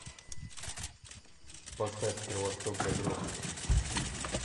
поставь кровосток загробная